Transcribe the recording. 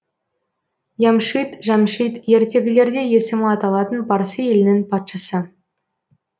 ямшид жәмшид ертегілерде есімі аталатын парсы елінің патшасы